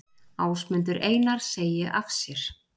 Ásmundur Einar segi af sér